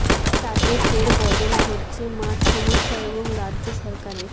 তাতে ফের বদল ঘটছে মাঠ সমস্যা এবং রাজ্য সরকারের